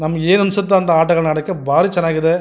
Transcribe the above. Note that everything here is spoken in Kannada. ನಮಗೆ ಏನ್ ಅನ್ಸುತ್ತುಹೋ ಅಂತ ಆಟಗಳನ್ನು ಆಡೋಕೆ ಬಾರಿ ಚೆನ್ನಾಗಿದೆ.